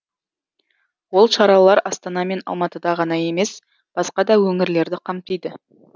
ол шаралар астана мен алматыда ғана емес басқа да өңірлерді қамтиды